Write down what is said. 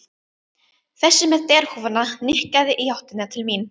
Þessi með derhúfuna nikkaði í áttina til mín.